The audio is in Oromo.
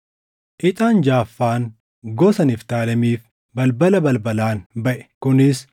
Ixaan jaʼaffaan gosa Niftaalemiif balbala balbalaan baʼe; kunis: